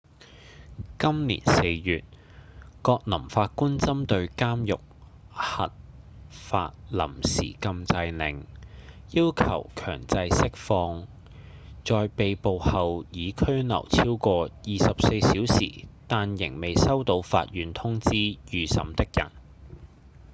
今年四月葛林法官針對監獄核發臨時禁制令要求強制釋放在被捕後已拘留超過24小時但仍未收到法院通知預審的人